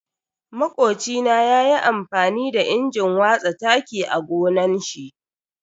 Makocina ya yi amfani da injin watsa taki a gonan shi.